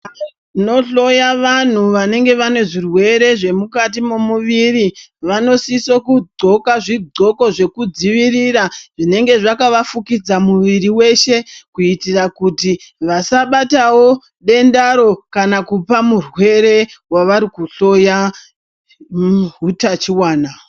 Vanohloya vanhu vanenge vaine zvirwere zvemukati memuviri vanosisa kudloka zvidloko zvekudzivirira zvinenge zvakavafukidza muviri wose kuitira kuti vasabatawo dendaro kana kupa murwere wavarikuhloya hutachiwana .